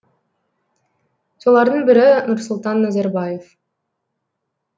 солардың бірі нұрсұлтан назарбаев